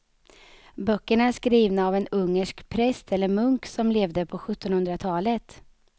Böckerna är skrivna av en ungersk präst eller munk som levde på sjuttonhundratalet.